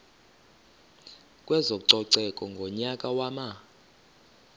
kwezococeko ngonyaka wama